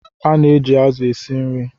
Ana eji azu esi nri